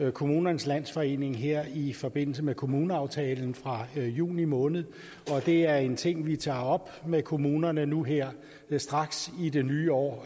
for kommunernes landsforening her i forbindelse med kommuneaftalen fra juni måned og det er en ting vi tager op med kommunerne nu her straks i det nye år